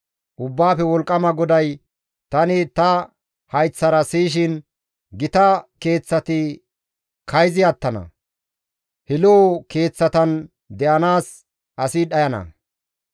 Ubbaafe Wolqqama GODAY tani ta hayththara siyishin, «Gita keeththati kayzi attana; he lo7o keeththatan de7anaas asi dhayana.